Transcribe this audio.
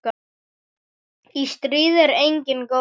Í stríði er enginn góður.